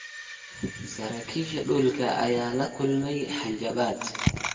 Saraakiisha dhulka ayaa la kulmaya hanjabaad.